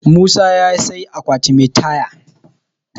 musa ya sai akwati Mai Taya